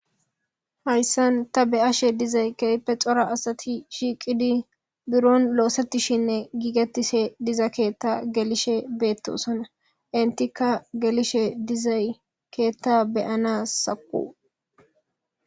Hayssan ta be7ashe dizay keype xora asati shiiqidi buron loosettishinne giigettise diza keetta gelishe beettosana intika gelishe dizay keetta beyana saqu.